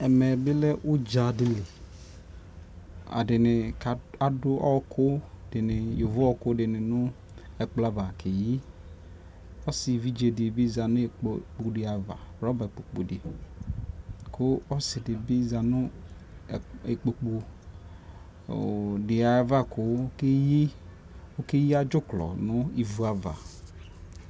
Ɛmɛ bi lɛ udza di liƐdini adu yovo ɔku dini nɛ kplɔ ava kɛyiƆsi ɛvidze di za nu ikpoku avaRɔba kpo diKu ɔsi di bi za nu ikpokpo ɔɔ di yɛ ava ku ɔkɛ ya dzuklɔ nu ivu ava